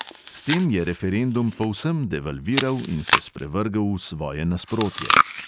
S tem je referendum povsem devalviral in se sprevrgel v svoje nasprotje.